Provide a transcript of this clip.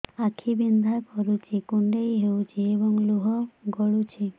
ଆଖି ବିନ୍ଧା କରୁଛି କୁଣ୍ଡେଇ ହେଉଛି ଏବଂ ଲୁହ ଗଳୁଛି